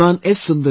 Shriman S